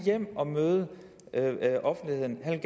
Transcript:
hjem og møde offentligheden han